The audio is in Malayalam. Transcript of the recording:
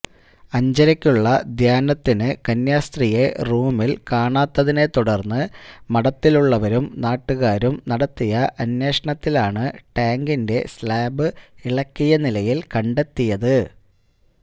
അഞ്ചരയ്ക്കുള്ള ധ്യാനത്തിനു കന്യാസ്ത്രീയെ റൂമില് കാണാത്തതിനെ തുടര്ന്ന് മഠത്തിലുള്ളവരും നാട്ടുകാരും നടത്തിയ അന്വേഷണത്തിലാണ് ടാങ്കിന്റെ സ്ലാബ് ഇളക്കിയ നിലയില് കണ്ടെത്തിയത്